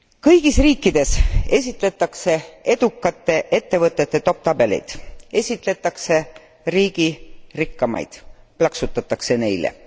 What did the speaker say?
Kõigis riikides esitletakse edukate ettevõtete edetabeleid, esitletakse riigi rikkamaid, plaksutatakse neile.